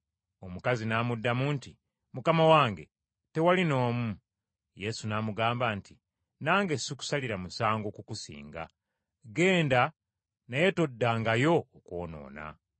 Omukazi n’amuddamu nti, “Mukama wange, tewali n’omu.” Yesu n’amugamba nti, “Nange sikusalira musango kukusinga. Genda, naye toddangayo okwonoona.”